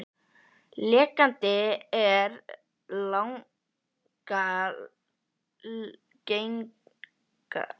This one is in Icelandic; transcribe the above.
Lekandi er langalgengastur af eiginlegum kynsjúkdómum.